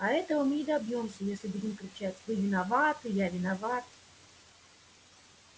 а этого мы не добьёмся если будем кричать вы виноваты я виноват